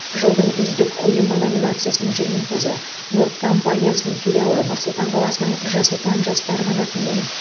жылдың үздік ұйымы номинациясының жеңімпазы норд компаниясының филиалы нұр сұлтан қаласының жас отан жастар қанатымен